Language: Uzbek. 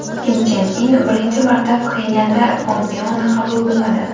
Kim Chen In birinchi marta Pxenyanda Pompeoni qabul qilmadi.